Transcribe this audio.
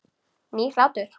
Nýr hlátur.